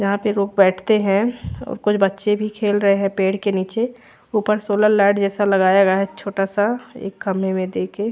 यहाँ पे लोग बैठते है और कुछ बच्चे भी खेल रहे है पेड़ के नीचे ऊपर सोलर लाइट जैसा लगाया गया है छोटा सा एक खम्बे में देके--